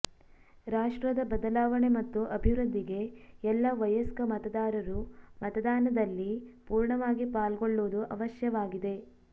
ರಾಷ್ಟ್ರದ ಬದಲಾವಣೆ ಮತ್ತು ಅಭಿವೃದ್ಧಿಗೆ ಎಲ್ಲ ವಯಸ್ಕ ಮತದಾರರು ಮತದಾನದಲ್ಲಿ ಪೂರ್ಣವಾಗಿ ಪಾಲ್ಗೊಳ್ಳುವುದು ಅವಶ್ಯವಾಗಿದೆ